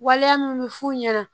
Waleya min bɛ f'u ɲɛna